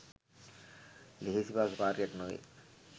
ලෙහෙසි පහසු කාර්යයක් නොවේ.